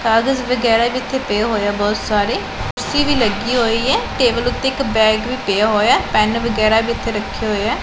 ਕਾਗਜ਼ ਵਗੈਰਾ ਵੀ ਇੱਥੇ ਪਏ ਹੋਏ ਐ ਬਹੁਤ ਸਾਰੇ ਕੁਰਸੀ ਵੀ ਲੱਗੀ ਹੋਈ ਐ ਟੇਬਲ ਉੱਤੇ ਇੱਕ ਬੈਗ ਵੀ ਪਿਆ ਹੋਇਆ ਐ ਪੈਨ ਵਗੈਰਾ ਵੀ ਇੱਥੇ ਰੱਖੇ ਹੋਏ ਐ।